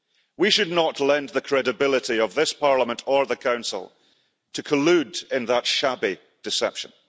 We should not lend the credibility of this Parliament or the Council to collude in that shabby deception.